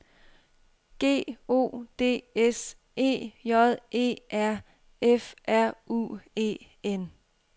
G O D S E J E R F R U E N